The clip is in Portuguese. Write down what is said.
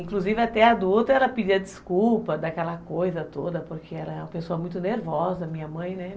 Inclusive até adulta, ela pedia desculpa, daquela coisa toda, porque ela é uma pessoa muito nervosa, minha mãe, né?